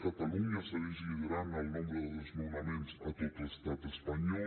catalunya segueix liderant el nombre de desnonaments a tot l’estat espanyol